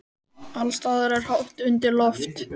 Alls staðar er hátt undir loft.